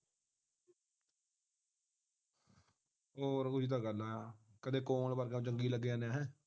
ਹੋਰ ਕੁਝ ਤੇ ਗੱਲਾ ਆ ਕਾਦੀ ਕੌਣ ਵਰਗ ਜੰਗੀ ਲੱਗੇ ਜਾਨੇ ਆਂ